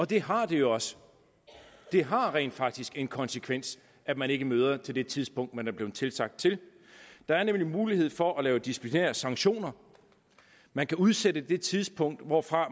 det har det jo også det har rent faktisk en konsekvens at man ikke møder til det tidspunkt man er blevet tilsagt til der er nemlig mulighed for at lave disciplinære sanktioner man kan udsætte det tidspunkt hvorfra